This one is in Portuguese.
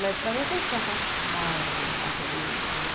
Mas para mim sempre foi aquela casa da fazenda, né?